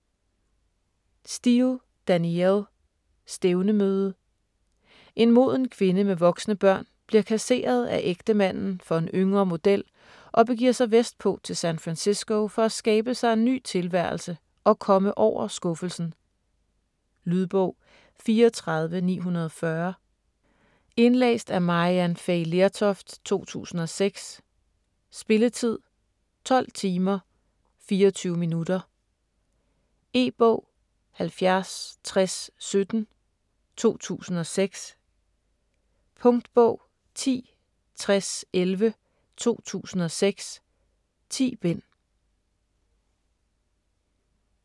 Steel, Danielle: Stævnemøde En moden kvinde med voksne børn bliver kasseret af ægtemanden for en yngre model og begiver sig vestpå til San Francisco for at skabe sig en ny tilværelse og komme over skuffelsen. Lydbog 34940 Indlæst af Maryann Fay Lertoft, 2006. Spilletid: 12 timer, 24 minutter. E-bog 706017 2006. Punktbog 106011 2006. 10 bind.